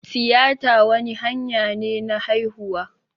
Tiyita wani hanya ne na haihuwa